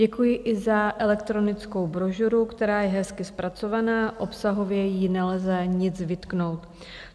Děkuji i za elektronickou brožuru, která je hezky zpracovaná, obsahově jí nelze nic vytknout.